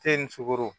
ni sukoro